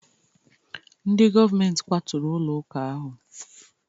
Ndị govamenti kwaturu ụlọ ụka ahụ